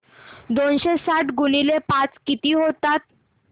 दोनशे साठ गुणिले पाच किती होतात